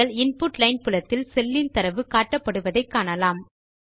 நீங்கள் input line புலத்தில் cell in தரவு காட்டப்படுவதை காணலாம்